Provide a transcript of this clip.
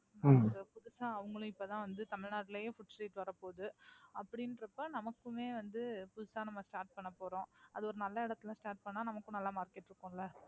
ஏன்னா அவங்களும் இப்பதான் வந்து தமிழ்நாட்டுலையும் Food street வரப்போகுது. அப்படின்றப்ப நமக்குமே வந்து புதுசா நாம Start பண்ணப்போறோம். அது ஒரு நல்ல இடத்துல Start பண்ணா நமக்கும் நல்ல Market இருக்கும்ல.